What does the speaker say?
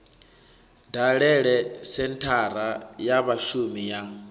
dalele senthara ya vhashumi ya